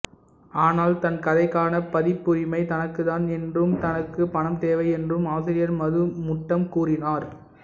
ஆனால் தன் கதைக்கான பதிப்புரிமை தனக்குத்தான் என்றும் தனக்கு பணம் தேவை என்றும் ஆசிரியர் மது முட்டம் கோரினார்